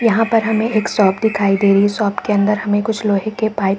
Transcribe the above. यहाँ पर हमें एक शॉप दिखाई दे रही है। शॉप के अंदर हमें कुछ लोहे के पाइप --